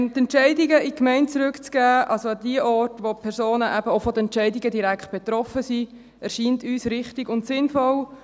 Die Entscheidungen an die Gemeinden zurückzugeben, also an jene Orte, wo die Personen in den Gemeinden direkt betroffen sind, erscheint uns richtig und sinnvoll.